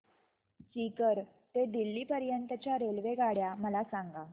सीकर ते दिल्ली पर्यंत च्या रेल्वेगाड्या मला सांगा